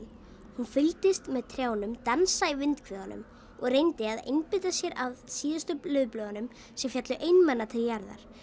hún fylgdist með trjánum dansa í og reyndi að einbeita sér að síðustu laufblöðunum sem féllu einmana til jarðar